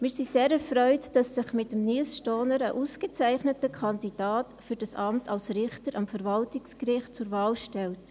Wir sind sehr erfreut, dass sich mit Nils Stohner ein ausgezeichneter Kandidat für das Amt als Richter am Verwaltungsgericht zur Wahl stellt.